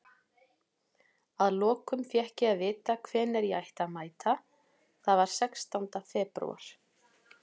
Að lokum fékk ég að vita hvenær ég ætti að mæta, það var sextánda febrúar.